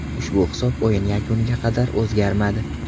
Ushbu hisob o‘yin yakuniga qadar o‘zgarmadi.